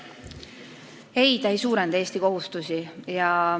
Ei, see ei suurenda Eesti kohustusi.